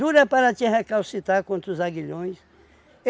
para te recalcitrar contra os aguilhões.